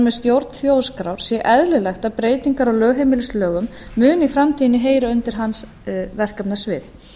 með stjórn þjóðskrár sé eðlilegt að breytingar á lögheimilislögum muni í framtíðinni heyra undir hans verkefnasvið